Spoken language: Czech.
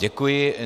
Děkuji.